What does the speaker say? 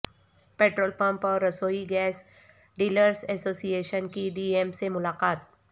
petrol pump اور رسوئی gas dealers association کی ڈی ایم سے ملاقات